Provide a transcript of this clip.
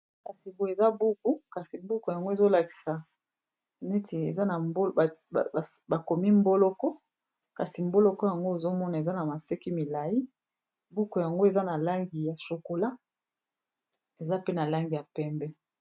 Kasiko eza buku kasi buku yango ezolakisa neti bakomi mboloko kasi mboloko yango ezomona eza na maseki milai buku yango eza na langi ya chokola eza pe na langi ya pembe.